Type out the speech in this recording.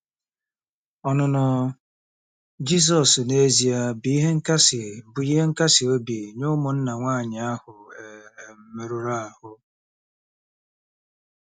Ọnụnọ Jisọs n’ezie bụ ihe nkasi bụ ihe nkasi obi nye ụmụnna nwanyị ahụ e um merụrụ ahụ́.